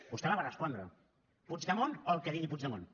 vostè la va respondre puigdemont o el que digui puigdemont